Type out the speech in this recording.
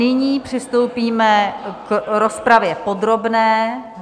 Nyní přistoupíme k rozpravě podrobné.